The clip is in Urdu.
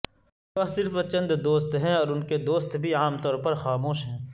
وہ صرف چند دوست ہیں اور ان کے دوست بھی عام طور پر خاموش ہیں